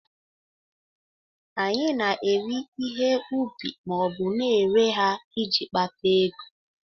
Anyị na-eri ihe ubi ma ọ bụ na-ere ha iji kpata ego